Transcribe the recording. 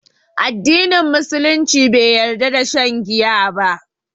Addinin Musulunci bai yarda da shan giya ba